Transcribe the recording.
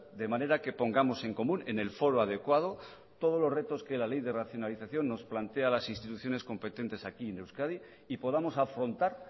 de manera que pongamos en común en el foro adecuado todos los retos que la ley de racionalización nos plantea a las instituciones competentes aquí en euskadi y podamos afrontar